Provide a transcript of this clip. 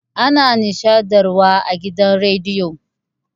Ana nishaɗntar wa a gidan radiyo